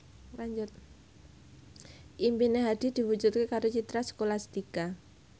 impine Hadi diwujudke karo Citra Scholastika